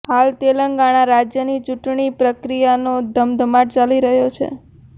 હાલ તેલંગણા રાજ્યની ચૂંટણી પ્રક્રિયાનો ધમધમાટ ચાલી રહ્યો છે